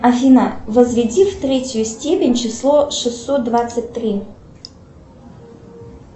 афина возведи в третью степень число шестьсот двадцать три